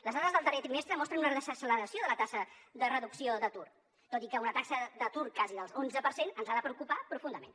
les dades del darrer trimestre mostren una desacceleració de la taxa de reducció d’atur tot i que una taxa d’atur quasi de l’onze per cent ens ha de preocupar profundament